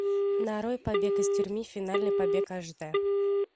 нарой побег из тюрьмы финальный побег аш дэ